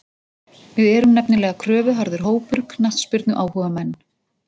Við erum nefnilega kröfuharður hópur, knattspyrnuáhugamenn.